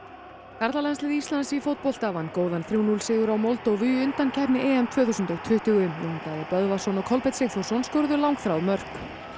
karlalandslið Íslands í fótbolta vann góðan þriggja til núll sigur á Moldóvu í undankeppni tvö þúsund og tuttugu Jón Daði Böðvarsson og Kolbeinn Sigþórsson skoruðu langþráð mörk